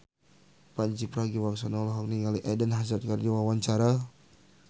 Pandji Pragiwaksono olohok ningali Eden Hazard keur diwawancara